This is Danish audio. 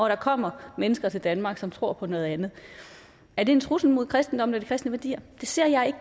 der kommer mennesker til danmark som tror på noget andet er det en trussel mod kristendommen og de kristne værdier det ser jeg